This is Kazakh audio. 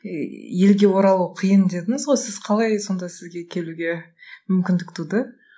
ііі елге оралу қиын дедіңіз ғой сіз қалай сонда сізге келуге мүмкіндік туды